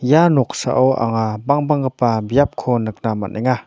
ia noksao anga bangbanggipa biapko nikna man·enga.